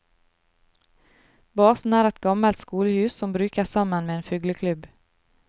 Basen er et gammelt skolehus som brukes sammen med en fugleklubb.